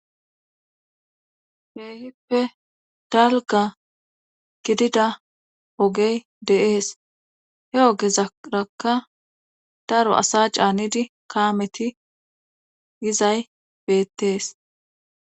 Heehippe dalga gidida ogey de7ees he ogezarakka daro asa caanidi kaameti gizay beettees.